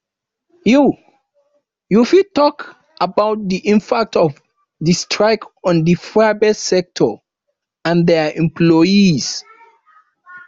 you you fit talk about di impact of di strike on di private sector and dia employees